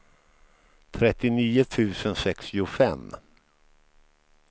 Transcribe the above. trettionio tusen sextiofem